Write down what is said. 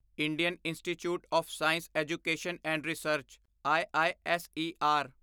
Indian institute of science education and research Isar